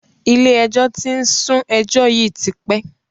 Ilé ẹjọ́ ti ń sù ẹjọ́ yìí tipẹ́.